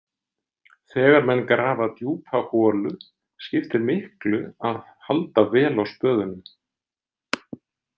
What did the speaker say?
Þegar menn grafa djúpa holu skiptir miklu að halda vel á spöðunum.